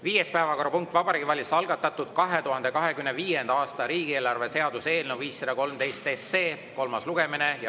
Viies päevakorrapunkt on Vabariigi Valitsuse algatatud 2025. aasta riigieelarve seaduse eelnõu 513 kolmas lugemine.